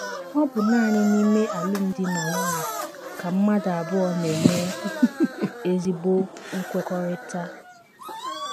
Ọ bụ nanị n’ime alụmdi na nwunye ka mmadụ abụọ na - eme ezigbo nkwekọrịta.